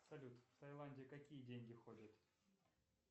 салют в тайланде какие деньги ходят